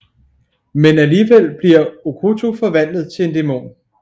Men alligevel bliver Okkoto forvandlet til en dæmon